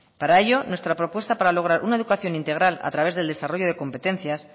para ello nuestra propuesta para lograr una educación integral a través del desarrollo de competencias